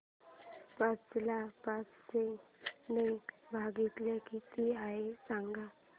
पाच ला पाचशे ने भागल्यास किती आहे सांगना